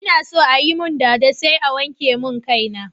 Ina so ayi mun dada sai a wanke mun kai na